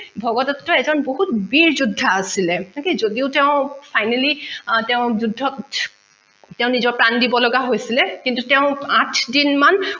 ভগদট্তৰ এজন বহুত বীৰ যুদ্ধা আছিলে okay যদিও তেও finally তেও যুদ্ধত তেঁও নিজৰ প্ৰাণ দিব লগা হৈছিলে কিন্তু তেঁও আঠ দিন মাণ